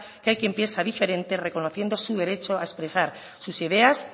que hay quien piensa diferente reconociendo su derecho a expresar sus ideas